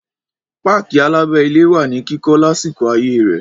Páàkì alábẹ́-ilé wà ní kíkọ́ lásìkò ayé rẹ̀.